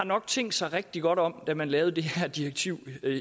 tænkt sig rigtig godt om da man lavede det her direktiv